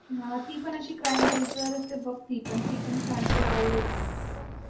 हा ती पण अशी crime base वरचए बग ती पण ती पण छानए तुला आवडेल